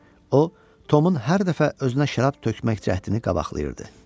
O, Tomun hər dəfə özünə şərab tökmək cəhdini qabaqlayırdı.